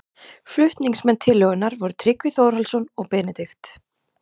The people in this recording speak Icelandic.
Flutningsmenn tillögunnar voru Tryggvi Þórhallsson og Benedikt